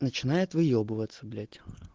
начинает выебываться блять